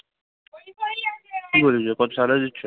কি বলিস রে কত salary দিচ্ছে?